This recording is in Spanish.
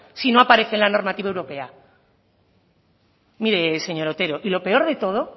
si no aparece en la normativa europea mire señor otero y lo peor de todo